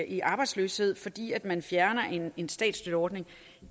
i arbejdsløshed fordi man fjerner en statsstøtteordning